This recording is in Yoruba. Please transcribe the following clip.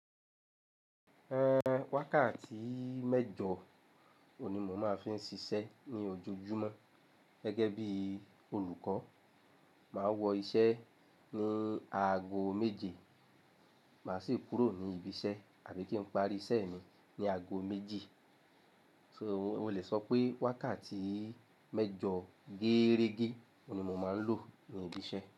Ẹ wákàtí méjọ̀ ni mò máa fi n ṣiṣẹ́ ní ojojúmọ́ gẹ́gẹ́ bí olùkọ́. Màá wọ iṣẹ́ ní aago méje, màá sì kúrò ní ibi iṣẹ́ àbí kí n parí iṣẹ́ mi ní aago méjì. So o le sọ pé wákàtí méjọ gẹ́rẹ́gẹ́ ni mò máa ń lò ní ibi iṣẹ́